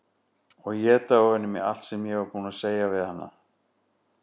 Og éta ofan í mig allt sem ég var búin að segja við hana.